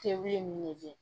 wule nin lajɛ